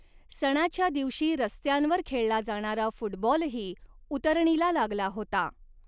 सणाच्या दिवशी रस्त्यांवर खेळला जाणारा फुटबॉलही उतरणीला लागला होता.